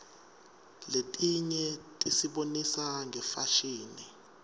letinye tisibonisa ngefashini